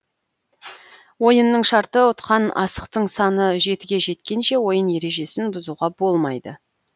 ойынның шарты ұтқан асықтың саны жетіге жеткенше ойын ережесін бұзуға болмайды